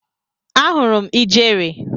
Ahụrụ m ijere.